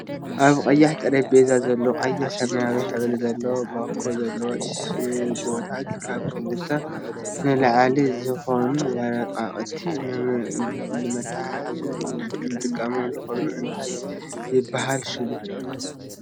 ኣብ ቀያሕ ጠረጴዛ ዘሎ ቀይሕን ሰማያዊ ሕብር ዘለዎ ባኮ ዘለው ሽቦታት ካብ ክልተን ንላዕልን ዝኮኑ ወረቃቅቲ ንመታሓሓዚ ንጥቀመሉ ኮይኑ እንታይ ይብሃል ሽሙ?